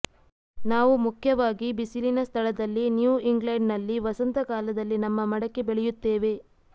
ನಾವು ಮುಖ್ಯವಾಗಿ ಬಿಸಿಲಿನ ಸ್ಥಳದಲ್ಲಿ ನ್ಯೂ ಇಂಗ್ಲೆಂಡ್ನಲ್ಲಿ ವಸಂತ ಕಾಲದಲ್ಲಿ ನಮ್ಮ ಮಡಕೆ ಬೆಳೆಯುತ್ತೇವೆ